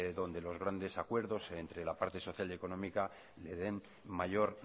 donde los grandes acuerdos entre la parte social y económica le den mayor